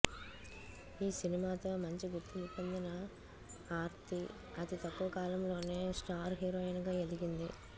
ఈ సినిమాతో మంచి గుర్తింపు పొందిన ఆర్తి అతి తక్కువ కాలంలోనే స్టార్ హీరోయిన్ గా ఎదిగింది